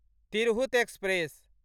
Tirhut express